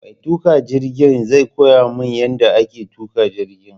Mai tuƙa jirgin zai koya min yadda ake tuƙa jirgin